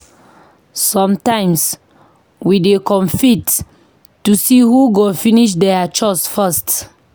Sometimes, we dey compete to see who go finish their chores first.